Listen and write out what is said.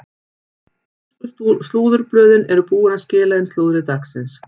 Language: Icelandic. Ensku slúðurblöðin eru búin að skila inn slúðri dagsins.